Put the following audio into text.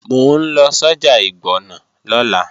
Mò ń lọ sọ́jà ìgbọ̀nà lọ́la